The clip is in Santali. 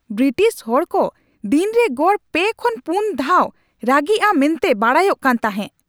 ᱵᱨᱤᱴᱤᱥ ᱦᱚᱲ ᱠᱚ ᱫᱤᱱ ᱨᱮ ᱜᱚᱲ ᱓ ᱠᱷᱚᱱ ᱔ ᱫᱷᱟᱣ ᱨᱟᱹᱜᱤᱜᱼᱟ ᱢᱮᱱᱛᱮ ᱵᱟᱰᱟᱭᱚᱜ ᱠᱟᱱ ᱛᱟᱦᱮᱸᱜ ᱾